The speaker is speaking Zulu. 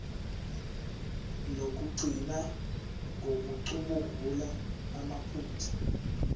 lokugcina ngokucubungula amaphutha